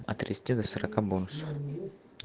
от тридцати до сорока бонусов